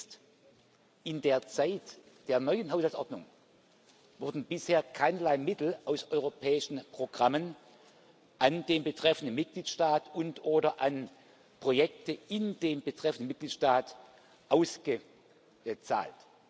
Wichtig ist In der Zeit der neuen Haushaltsordnung wurden bisher keinerlei Mittel aus europäischen Programmen an den betreffenden Mitgliedstaat und oder an Projekte in dem betreffenden Mitgliedstaat ausgezahlt.